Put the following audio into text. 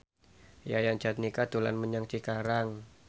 Yayan Jatnika dolan menyang Cikarang